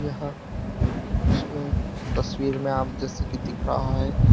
हां इस में तस्वीर में आप जैसे कि दिख रहा है।